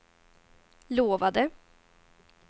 lovade